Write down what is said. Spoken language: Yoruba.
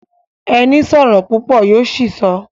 Ẹni sọ̀rọ̀ púpọ̀ yó ṣìsọ